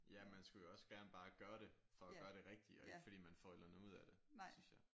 Ja man skulle jo også bare gerne gøre det for at gøre det rigtigt og ikke fordi man får et eller andet ud af det synes jeg